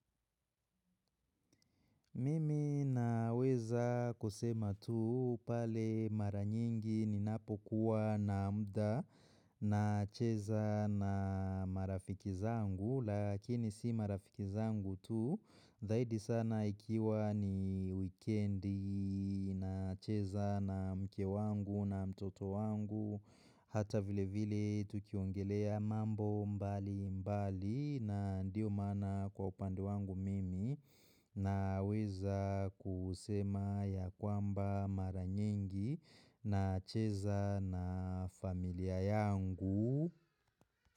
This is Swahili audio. Mimi naweza kusema tu pale mara nyingi ninapokuwa na mda nacheza na marafiki zangu. Lakini si marafiki zangu tu. Zaidi sana ikiwa ni wikendi nacheza na mke wangu na mtoto wangu. Hata vile vile tukiongelea mambo mbali mbali na ndio maana kwa upande wangu mimi. Naweza kusema ya kwamba mara nyengi nacheza na familia yangu.